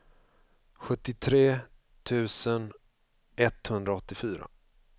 sjuttiotre tusen etthundraåttiofyra